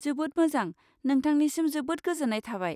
जोबोद मोजां! नोंथांनिसिम जोबोद गोजोन्नाय थाबाय।